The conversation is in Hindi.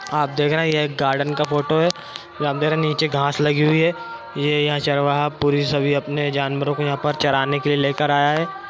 आप देख रहे है यह एक गार्डन का फोटो है और अप देख रहे नीचे घास लगी है ये यहां चरवाहा पुरे सभी अपने जानवरों को चराने के लिए लेके आया है